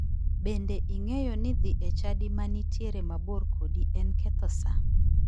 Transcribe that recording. Bende ing'eyo ni dhi e chadi ma nitiere mabor kodi en ketho saa?